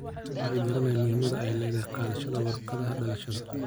Dadku way garanayaan muhiimada ay leedahay qaadashada warqadaha dhalashada.